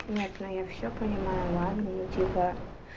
нет но я всё понимаю ладно я типо